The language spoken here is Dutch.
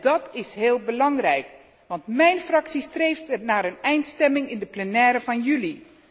Dat is heel belangrijk, want mijn fractie streeft naar een eindstemming in de plenaire vergadering van juli.